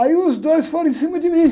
Aí os dois foram em cima de mim.